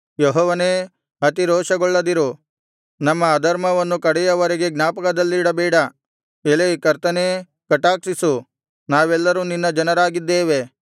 ಯೆಹೋವನೇ ಅತಿರೋಷಗೊಳ್ಳದಿರು ನಮ್ಮ ಅಧರ್ಮವನ್ನು ಕಡೆಯವರೆಗೂ ಜ್ಞಾಪಕದಲ್ಲಿಡಬೇಡ ಎಲೈ ಕರ್ತನೇ ಕಟಾಕ್ಷಿಸು ನಾವೆಲ್ಲರೂ ನಿನ್ನ ಜನರಾಗಿದ್ದೇವೆ